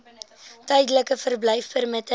tydelike verblyfpermitte